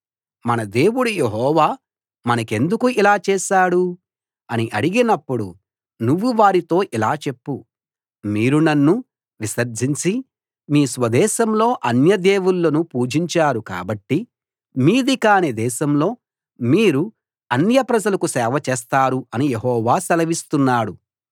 మన దేవుడు యెహోవా మనకెందుకు ఇలా చేశాడు అని అడిగినప్పుడు నువ్వు వారితో ఇలా చెప్పు మీరు నన్ను విసర్జించి మీ స్వదేశంలో అన్య దేవుళ్ళను పూజించారు కాబట్టి మీది కాని దేశంలో మీరు అన్య ప్రజలకు సేవ చేస్తారు అని యెహోవా సెలవిస్తున్నాడు